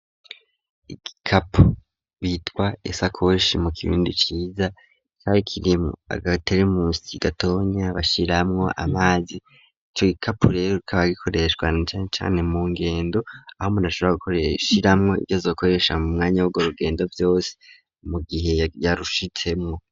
Ikapu bitwa isakoshi mu kibindi ciza carikirimu agaterimusi gatonya bashiramwo amazi ico ikapu rero kaba gikoreshwa na cane chane mu ngendo aho mundashobora guorshiramwo igeza ukoresha mu mwanya w'go rugendo vyose mu gihe yarushitsemo.